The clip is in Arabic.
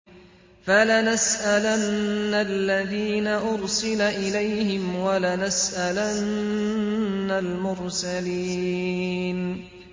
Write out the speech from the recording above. فَلَنَسْأَلَنَّ الَّذِينَ أُرْسِلَ إِلَيْهِمْ وَلَنَسْأَلَنَّ الْمُرْسَلِينَ